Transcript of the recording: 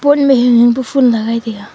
pot ma hinghing pa phool lagai taiga.